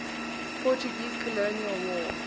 portuguese colonial war